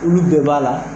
Olu bɛɛ b'a la